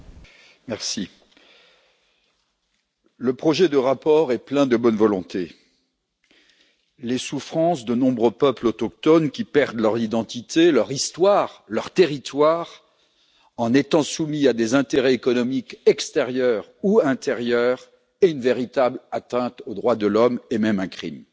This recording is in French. Monsieur le Président, le projet de rapport est plein de bonne volonté. Les souffrances de nombreux peuples autochtones qui perdent leur identité, leur histoire, leur territoire en étant soumis à des intérêts économiques extérieurs ou intérieurs est une véritable atteinte aux droits de l'homme et même un crime.